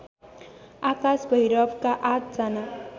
आकाश भैरवका आठ जना